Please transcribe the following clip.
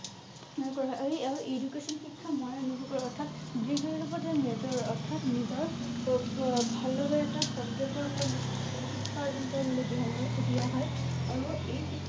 আৰু এই education শিক্ষা অৰ্থাৎ যিকোনো ৰূপতে major অৰ্থাৎ নিজৰ উম ভাল লগা এটা subject ৰ উপৰত আৰু এই